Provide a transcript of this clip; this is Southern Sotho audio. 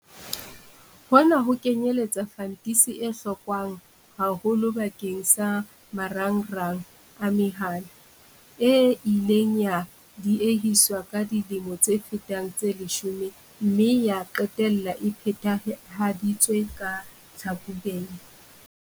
Hona ho kenyeletsa fantisi e hlokwang haholo bakeng sa marangrang a mehala, e ileng ya diehiswa ka dilemo tse fetang tse leshome mme ya qetella e phethahaditswe ka Tlhakubele.